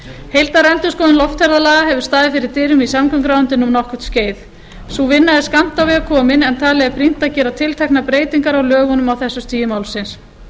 heildarendurskoðun loftferðalaga hefur staðið fyrir dyrum í samgönguráðuneytinu um nokkurt skeið sú vinna er skammt á veg komin en talið er brýnt að gera tilteknar breytingar á lögunum á þessu stigi málsins